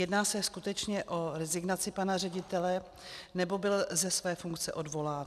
Jedná se skutečně o rezignaci pana ředitele, nebo byl ze své funkce odvolán?